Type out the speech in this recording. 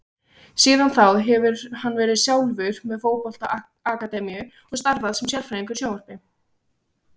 Síðan þá hefur hann verið sjálfur með fótbolta akademíu og starfað sem sérfræðingur í sjónvarpi.